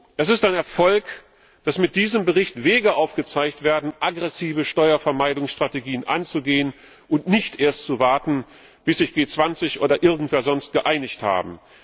Es ist ein Erfolg, dass mit diesem Bericht Wege aufgezeigt werden, aggressive Steuervermeidungsstrategien anzugehen und nicht erst zu warten, bis sich G20 oder irgendwer sonst geeinigt haben.